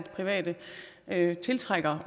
have